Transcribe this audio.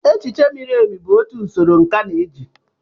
Echiche miri emi bụ otu usoro nkà na-eji.